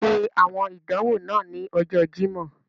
Ṣe awọn idanwo naa ni Ọjọ Jimọ.